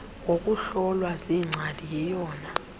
ngokuhlolwa ziingcali yiyona